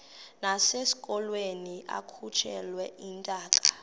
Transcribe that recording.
nasekulweni akhutshwe intaka